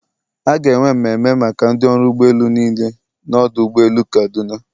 A ga-enwe mmemme maka ndị ọrụ ụgbọ elu niile na ọdụ ụgbọ elu kaduna.